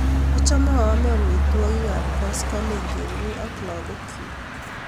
Achame aame amitwogik ap koskoling' kemi ak lagok chuk